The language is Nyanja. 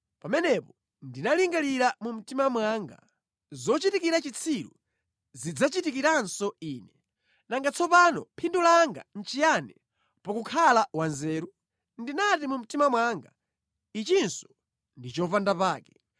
Pamenepo ndinalingalira mu mtima mwanga, “Zochitikira chitsiru zidzandichitikiranso ine. Nanga tsono phindu langa nʼchiyani pakukhala wanzeru?” Ndinati mu mtima mwanga, “Ichinso ndi chopandapake.”